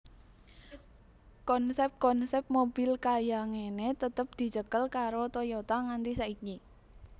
Konsep konsep mobil kaya ngene tetep dicekel karo Toyota nganti saiki